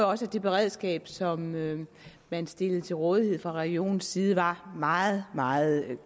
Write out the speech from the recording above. også at det beredskab som man stillede til rådighed fra regionens side var meget meget